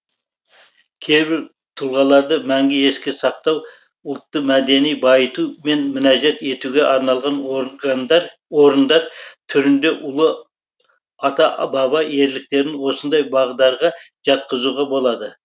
кейбір тұлғаларды мәңгі еске сақтау ұлтты мәдени байыту мен мінәжат етуге арналған орындар түрінде ұлы ата баба ерліктерін осындай бағдарға жатқызуға болады